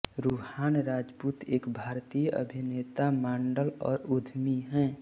रुहान राजपूत एक भारतीय अभिनेता मॉडल और उद्यमी हैं